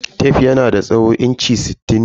Tef yanada tsawon inchi sittin ne.